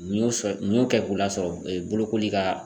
Munu sɔ mun y'o kɛ k'o lasɔrɔ bolokoli ka